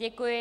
Děkuji.